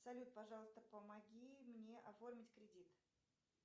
салют пожалуйста помоги мне оформить кредит